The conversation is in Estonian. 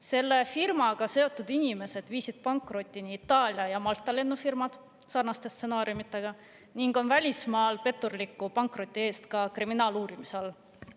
Selle firmaga seotud inimesed viisid pankrotini Itaalia ja Malta lennufirmad sarnaste stsenaariumitega ning on välismaal petturliku pankroti eest ka kriminaaluurimise all.